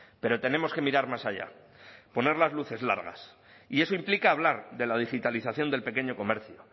pero tenemos que mirar más allá poner las luces largas y eso implica hablar de la digitalización del pequeño comercio